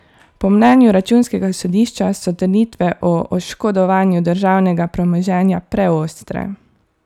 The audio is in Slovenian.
Po mnenju računskega sodišča so trditve o oškodovanju državnega premoženja preostre.